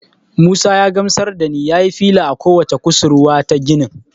Musa ya gamsar da ni nayi fila a ko wacce kusurwa ta ginin.